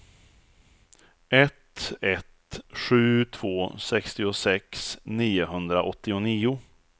ett ett sju två sextiosex niohundraåttionio